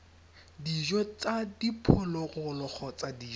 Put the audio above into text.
dijo tsa diphologolo kgotsa dijo